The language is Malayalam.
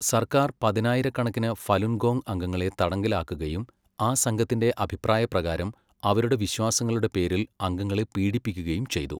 സർക്കാർ പതിനായിരക്കണക്കിന് ഫലുൻ ഗോങ് അംഗങ്ങളെ തടങ്കലിലാക്കുകയും ആ സംഘത്തിൻ്റെ അഭിപ്രായ പ്രകാരം അവരുടെ വിശ്വാസങ്ങളുടെ പേരിൽ അംഗങ്ങളെ പീഡിപ്പിക്കുകയും ചെയ്തു.